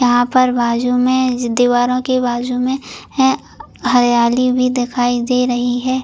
यहाँ पर बाजु में दीवारों के बाजु में है हरियाली भी दिखाई दे रही है।